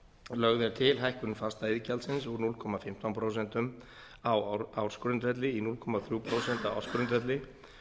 lögð er til hækkun fastaiðgjaldsins úr núll komma fimmtán prósent á ársgrundvelli í núll komma þrjú prósent á ársgrundvelli